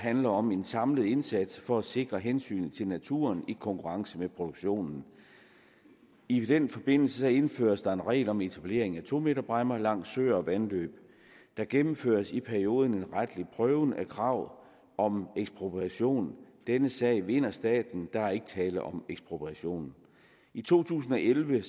handler om en samlet indsats for at sikre hensynet til naturen i konkurrence med produktionen i den forbindelse indføres der en regel om etablering af to meterbræmmer langs søer og vandløb der gennemføres i perioden en retlig prøve af krav om ekspropriation denne sag vinder staten der er ikke tale om ekspropriation i to tusind og elleve